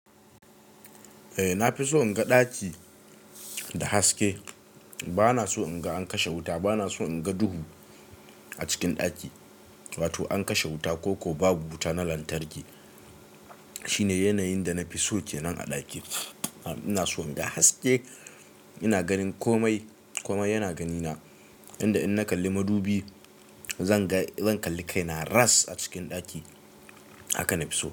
Eh na fi so in ga ɗaki da haske ba na so in ga an kashe wuta, ba na so in ga duhu a cikin ɗaki wato an kashe wuta ko ko babu wuta na lantarki. Shi ne yanayin da na fi so kenan a ɗaki am ina so in ga haske ina ganin komai komai yana gani na inda in na kalli madubi zanga zan kalli kai na ras a cikin ɗaki. Haka na fi so.